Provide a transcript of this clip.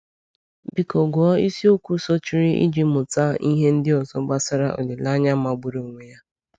Biko gụọ isiokwu sochiri iji mụta ihe ndị ọzọ gbasara olileanya magburu onwe ya.